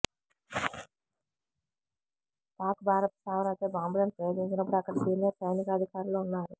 పాక్ భారత స్థావరాలపై బాంబులను ప్రయోగించినప్పుడు అక్కడ సీనియర్ సైనికాధికారులు ఉన్నారు